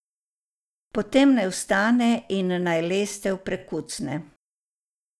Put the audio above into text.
Potem naj vstane in naj lestev prekucne.